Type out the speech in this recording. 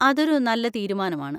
അതൊരു നല്ല തീരുമാനമാണ്.